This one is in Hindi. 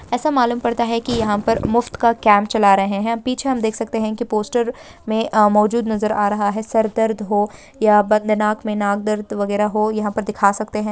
ऐसा मालूम पड़ता है कि यहां पर मुफ्त का काम चला रहे हैं पीछे हम देख सकते हैं की पोस्टर में मौजूद नजर आ रहा है सर दर्द हो या बंद दिमाग नाक दर्द वगैरह हो यहां पर दिखा सकते हैं ।